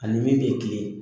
Ani min bɛ kilen.